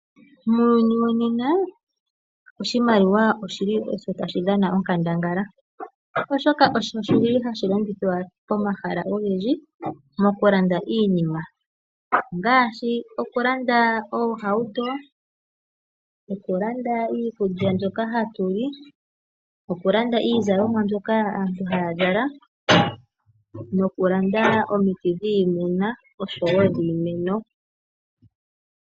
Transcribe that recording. Muuyuni wonena oshimaliwa osjo shi li tashi dhana onkandangala, oshoka osho shi li hashi longithwa pomahala ogendji mokulanda iinima. Ongaashi okulanda oohauto, okulanda iikulya mbyoka hatu li, okulanda iizalomwa mbyoka aantu haya zala nokulanda omiti dhiimuna oshowo dhiimeno.